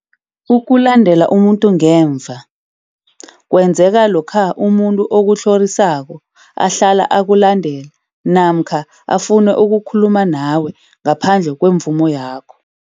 Ukulandela umuntu ngemva, kwenzeka lokha umuntu okutlhorisako ahlala akulandela namkha afune ukukhuluma nawe ngaphandle kwemvumo yakho.